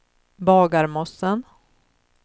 Bagarmossen